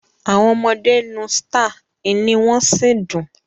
Awọn ọmọde n uu Star, iny won si ndun